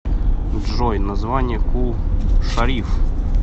джой название кул шариф